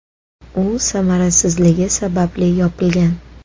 U samarasizligi sababli yopilgan.